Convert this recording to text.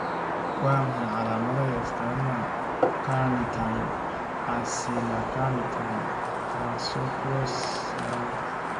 Waa maxay calaamadaha iyo astaamaha Carnitine acylcarnitine translocase yaraanta?